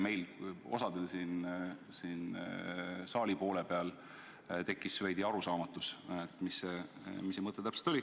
Meil siin saali selle poole peal tekkis veidi arusaamatust, mis see mõte täpselt oli.